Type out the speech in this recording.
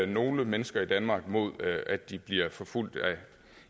nogle mennesker i danmark mod at de bliver forfulgt